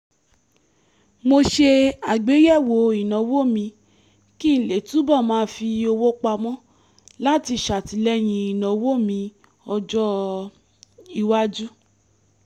mo ṣe àgbéyẹ̀wò ìnáwó mi kí n lè túbọ̀ máa fi owó pamọ́ láti ṣàtìlẹ́yìn ìnáwó mi ọjọ́-iwájú